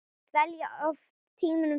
Dvelja oft tímunum saman í